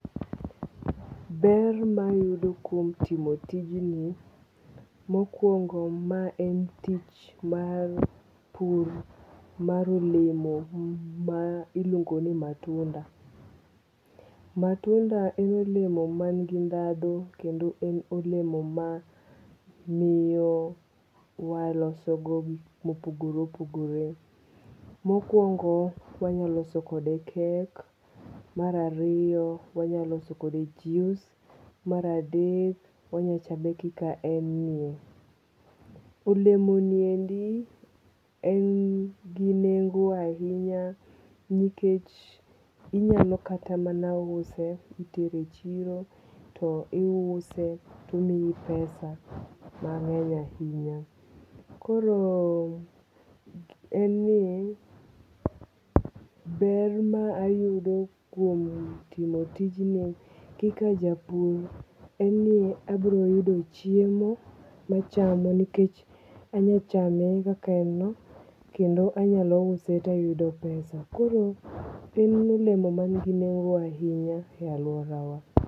Ber mayudo kuom timo tijni mokwongo maen tich mar pur mar olemo mailuongo ni matunda. matunda en olemo mangi ndhandhu kendo en olemo mamio waloso go gik mopogore opogre mokwongo wanyaloso kode cake marariyo wanyaloso kode juice maradek wanyachame kaka en ni. Olemo ni endi en gi nengo ahinya nikech inyalo kata mana use itere e chiro to iuse tomii pesa mang'eny ahinya koro en ni ber maayudo kuom timo tijni kaka japur en ni abro yudo chiemo machamo nikech anyachame kakaen no kendo anya use tayudo pesa koro en olemo man gi nengo ahinya e alworawa